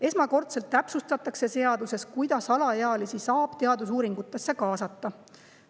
Esmakordselt täpsustatakse seaduses, kuidas alaealisi saab teadusuuringutesse kaasata.